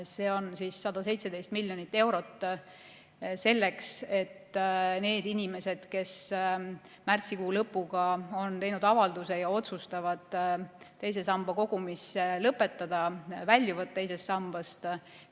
See on 117 miljonit eurot ja mõeldud selleks, et maksta nendele inimestele, kes märtsikuu lõpuks on esitanud avalduse ja otsustanud teise sambasse kogumise lõpetada, väljuda teisest sambast.